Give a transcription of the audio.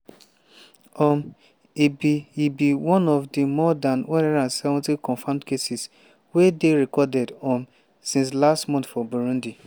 um e be e be one of di more dan 170 confirmed cases wey dey recorded um since last month for burundi.